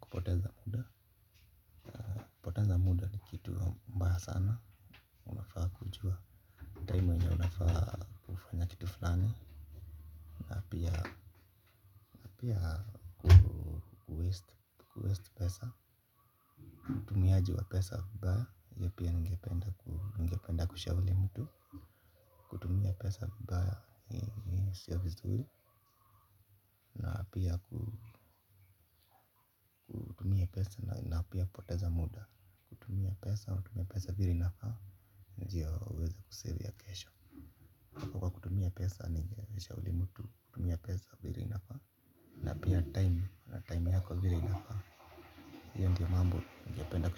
kupoteza muda na kupoteza muda ni kitu mbaya sana unafaa kujua Time wenye unafaa kufanya kitu fulani. Na apia waste pesa utuaji wa pesa baya ya pia nigependa kushauli mtu. Kutuvimia pesa vibaya in service na pia kupoteza muda. Tumia pesa wa tumia pesa viri nafaa. Nijia uweza kusave ya kesho na pi a time ya tumi time yako vile io ndo mambo ningependa. Kwa hivyo.